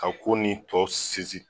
A ko ni tɔ sinsi